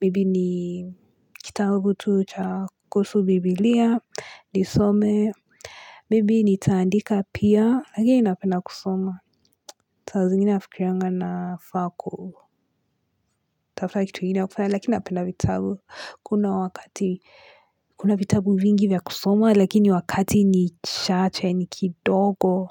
maybe ni kitabu tu cha kuhusu biblia, nisome, maybe nitaandika pia, lakini napenda kusoma. Saa zingine nafikirianga nafaa kutafuta kitu ingine ya kufanya lakina napenda vitabu Kuna wakati Kuna vitabu vingi vya kusoma Lakini wakati ni chache ni kidogo.